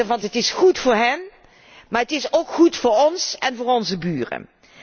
Want het is goed voor hen, maar het is ook goed voor ons en voor onze buren.